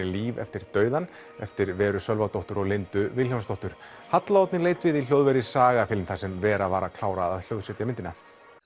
Líf eftir dauðann eftir Veru Sölvadóttur og Lindu Vilhjálmsdóttur halla Oddný leit við í hljóðveri Saga film þar sem Vera var að klára að hljóðsetja myndina